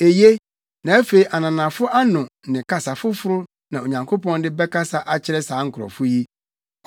Eye, na afei ananafo ano ne kasa foforo na Onyankopɔn de bɛkasa akyerɛ saa nkurɔfo yi,